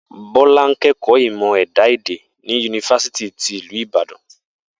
Bó̩lá ń ké̩kò̩ó̩ Ìmò̩ È̩dá-Èdè ní Yunifásítì ti ìlú Ibadan